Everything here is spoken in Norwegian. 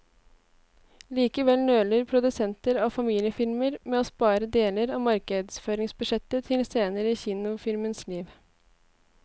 Likevel nøler produsenter av familiefilmer med å spare deler av markedsføringsbudsjettet til senere i kinofilmens liv.